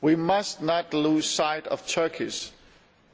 We must not lose sight of Turkey's